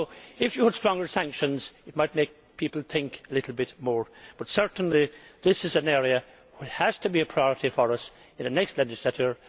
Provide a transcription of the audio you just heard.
If there were sanctions, it might make people think a little bit more. Certainly, this is an area which has to be a priority for us in the next legislature.